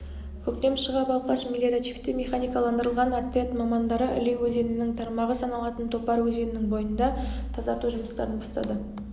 көктем шыға балқаш мелиоративті-механикаландырылған отряд мамандары іле өзенінің тармағы саналатын топар өзенінің бойында тазарту жұмыстарын бастады